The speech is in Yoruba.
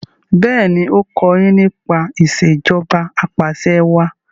béèni o kò yín nípa Ìṣèjọba Apàṣẹwàá